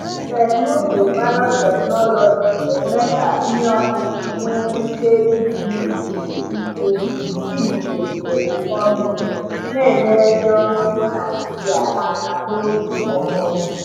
Teknụzụ biotechnology na-eme ka ihe ọkụkụ nwee ike iguzogide ike iguzogide ụkọ mmiri, na-enyere ndị ọrụ ugbo Naijiria aka n’oge ọkọchị.